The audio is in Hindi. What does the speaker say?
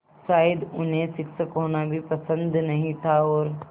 शायद उन्हें शिक्षक होना भी पसंद नहीं था और